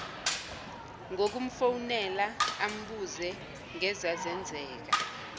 ngokumfonela ambuze ngezazenzeka